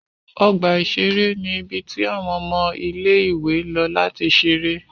Ọgba iṣere ni ibi ti awọn ọmọ ile-iwe ǹ lọ lati ṣere.